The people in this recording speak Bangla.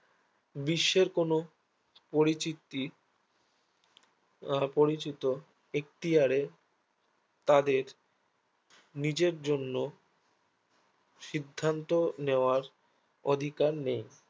বিশ্বের কোনো পরিচিতি আহ পরিচিত এক্তিয়ার এ তাদের নিজের জন্য সিধ্যান্ত নেয়ার অধিকার নেই